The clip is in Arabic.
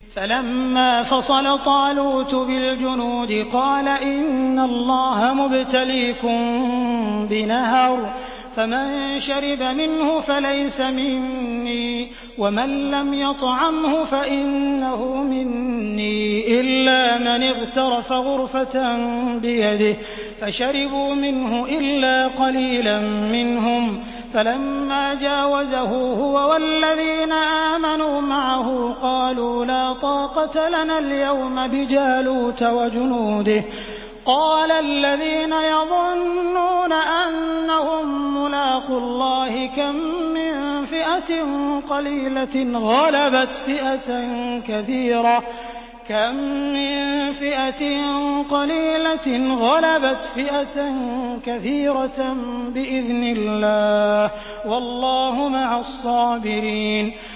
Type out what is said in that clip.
فَلَمَّا فَصَلَ طَالُوتُ بِالْجُنُودِ قَالَ إِنَّ اللَّهَ مُبْتَلِيكُم بِنَهَرٍ فَمَن شَرِبَ مِنْهُ فَلَيْسَ مِنِّي وَمَن لَّمْ يَطْعَمْهُ فَإِنَّهُ مِنِّي إِلَّا مَنِ اغْتَرَفَ غُرْفَةً بِيَدِهِ ۚ فَشَرِبُوا مِنْهُ إِلَّا قَلِيلًا مِّنْهُمْ ۚ فَلَمَّا جَاوَزَهُ هُوَ وَالَّذِينَ آمَنُوا مَعَهُ قَالُوا لَا طَاقَةَ لَنَا الْيَوْمَ بِجَالُوتَ وَجُنُودِهِ ۚ قَالَ الَّذِينَ يَظُنُّونَ أَنَّهُم مُّلَاقُو اللَّهِ كَم مِّن فِئَةٍ قَلِيلَةٍ غَلَبَتْ فِئَةً كَثِيرَةً بِإِذْنِ اللَّهِ ۗ وَاللَّهُ مَعَ الصَّابِرِينَ